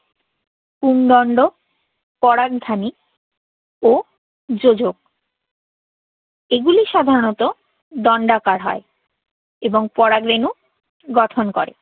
পুংদণ্ড, পরাগধানী ও যোজক। এইগুলি সাধারাণত দণ্ডাকার হয় এবং পরাগরেণু গঠন করে।